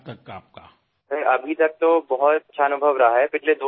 Ripudaman sir এই পৰ্যন্ত সুন্দৰ অভিজ্ঞতা হৈছে